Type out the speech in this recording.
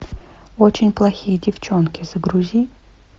очень плохие девчонки загрузи